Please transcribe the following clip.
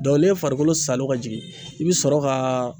ni ye farikolo salo ka jigin i bi sɔrɔ ka